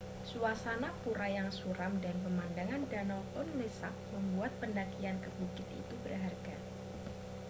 suasana pura yang suram dan pemandangan danau tonle sap membuat pendakian ke bukit itu berharga